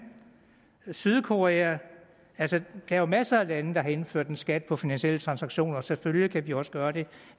sydkorea altså der er jo masser af lande der har indført en skat på finansielle transaktioner selvfølgelig kan vi også gøre det